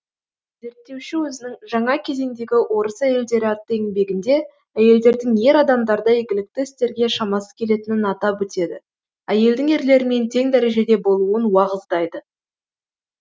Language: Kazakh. зерттеуші өзінің жаңа кезеңдегі орыс әйелдері атты еңбегінде әйелдердің ер адамдардай игілікті істерге шамасы келетінін атап өтеді әйелдің ерлермен тең дәрежеде болуын уағыздайды